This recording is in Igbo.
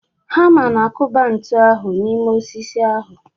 Hama na-akụba ntu ahụ n'ime osisi ahu.